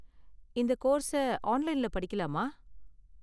இந்த கோர்ஸ ஆன்லைன்ல படிக்கலாமா?